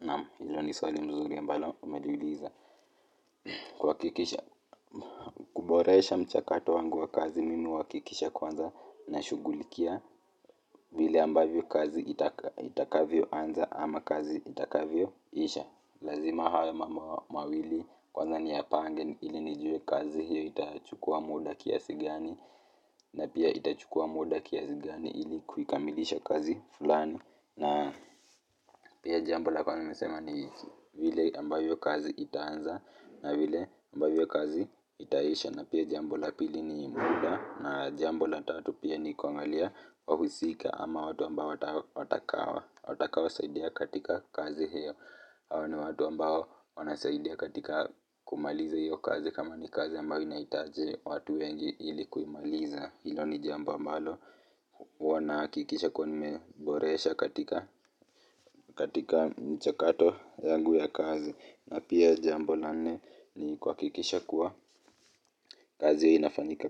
Naamu, hilo ni swali mzuri ambalo umeliuliza kuboresha mchakato wangu wa kazi mimi huhakikisha kwanza nashughulikia vile ambavyo kazi itakavyo anza ama kazi itakavyo isha lazima haya mambo mawili kwanza niyapange ili nijue kazi hiyo itachukua muda kiasi gani na pia itachukua muda kiasi gani ili kuikamilisha kazi fulani na pia jambo la kwanza nimesema ni vile ambavyo kazi itaanza na vile ambavyo kazi itaisha na pia jambo la pili ni muda na jambo la tatu pia ni kuangalia wahusika ama watu ambao watakaosaidia katika kazi hiyo hawa ni watu ambao wanasaidia katika kumaliza hiyo kazi kama ni kazi ambao inaitaje watu wengi ilikuimaliza hilo ni jambo ambalo wana kikisha kwa ni meboresha katika michakato yangu ya kazi na pia jambo la nne ni kuhakikisha kuwa kazi itafanyika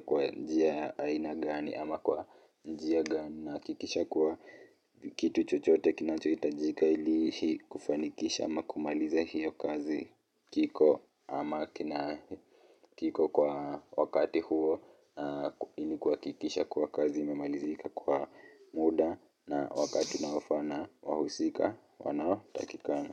kwa njia aina gani ama kwa njia gani nahakikisha kuwa kitu chochote kinachohitajika ili kufanikisha ama kumaliza hiyo kazi kiko ama kiko kwa wakati huo ili kuhakikisha kuwa kazi inamalizika kwa muda.